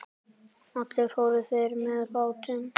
Allir fóru þeir með bátnum.